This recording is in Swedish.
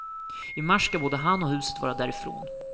I mars ska både han och huset vara därifrån.